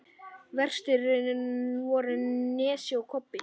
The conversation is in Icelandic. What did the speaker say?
Verstir voru Nesi og Kobbi.